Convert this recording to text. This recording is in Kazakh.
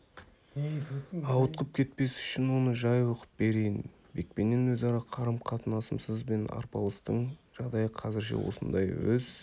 ауытқып кетпес үшін оны жай оқып берейін бекпенен өзара қарым-қатынасымыз бен арпалыстың жағдайы қазірше осындай өз